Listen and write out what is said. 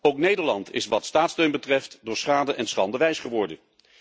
Ook Nederland is wat staatssteun betreft door schade en schande wijs geworden.